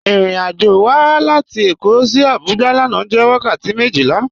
Irìn-àjọ́ wà látì Èkó sí Àbújá lànà jẹ́ wakàtí mejila.